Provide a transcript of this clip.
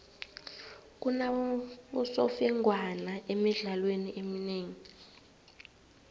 kunabosemfengwana emidlalweni eminengi